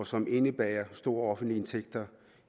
som indebærer store offentlige indtægter